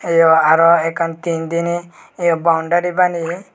teyo aro ekkan teen dine ye boundry baneye.